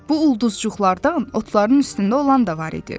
Bu ulduzcuqlardan otların üstündə olan da var idi.